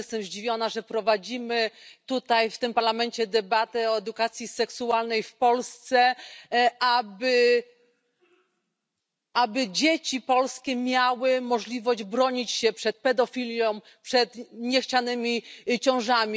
Ja też jestem zdziwiona, że prowadzimy tutaj w tym Parlamencie debatę o edukacji seksualnej w Polsce, aby dzieci polskie miały możliwość bronić się przed pedofilią i przed niechcianymi ciążami.